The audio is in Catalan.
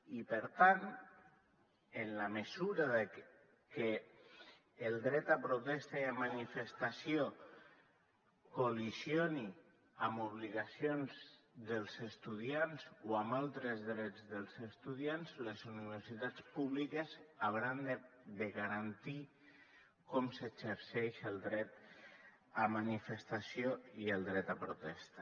i per tant en la mesura que el dret a protesta i a manifestació col·lideixi amb obligacions dels estudiants o amb altres drets dels estudiants les universitats públiques hauran de garantir com s’exerceix el dret a manifestació i el dret a protesta